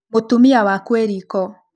Mũtumia waku e riko